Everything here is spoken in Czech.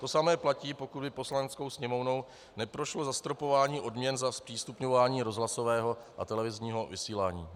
To samé platí, pokud by Poslaneckou sněmovnou neprošlo zastropování odměn za zpřístupňování rozhlasového a televizního vysílání.